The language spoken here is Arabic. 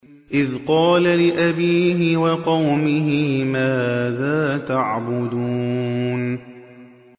إِذْ قَالَ لِأَبِيهِ وَقَوْمِهِ مَاذَا تَعْبُدُونَ